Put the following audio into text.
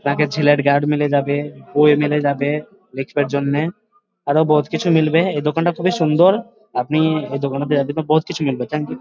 মেলে যাবে যাবে দেখবার জন্য আরো বহুত কিছু মিলবে এই দোকানটা খুবই সুন্দর। আপনি এই দোকানটায় জন্য আরো বহুত কিছু মিলবে থ্যাঙ্ক ইউ ।